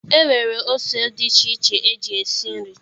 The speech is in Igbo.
E nwere ose dị iche iche e ji esi nri